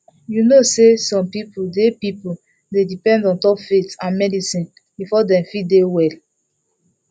you know say some people dey people dey depend ontop faith and medicine before dem fit dey well